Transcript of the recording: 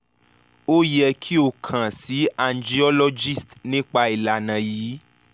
o yẹ ki o kan si angiologist nipa ilana yii